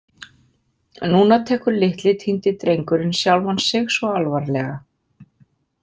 Núna tekur litli, týndi drengurinn sjálfan sig svo alvarlega.